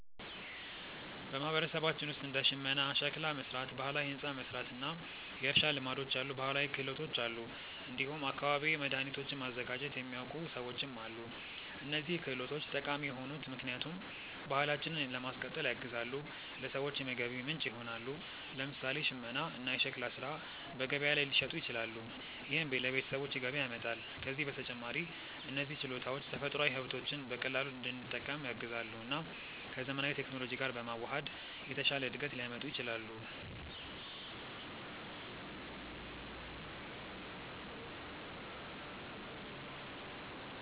በማህበረሰባችን ውስጥ እንደ ሽመና፣ ሸክላ መሥራት፣ ባህላዊ ሕንፃ መሥራት እና የእርሻ ልማዶች ያሉ ባህላዊ ክህሎቶች አሉ። እንዲሁም አካባቢያዊ መድኃኒቶችን ማዘጋጀት የሚያውቁ ሰዎችም አሉ። እነዚህ ክህሎቶች ጠቃሚ የሆኑት ምክንያቱም ባህላችንን ለማስቀጠል ያግዛሉ፣ ለሰዎችም የገቢ ምንጭ ይሆናሉ። ለምሳሌ ሽመና እና ሸክላ ሥራ በገበያ ላይ ሊሸጡ ይችላሉ፣ ይህም ለቤተሰቦች ገቢ ያመጣል። ከዚህ በተጨማሪ እነዚህ ችሎታዎች ተፈጥሯዊ ሀብቶችን በቀላሉ እንድንጠቀም ያግዛሉ እና ከዘመናዊ ቴክኖሎጂ ጋር በመዋሃድ የተሻለ እድገት ሊያመጡ ይችላሉ።